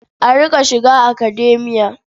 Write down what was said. A riƙa shiga Academia.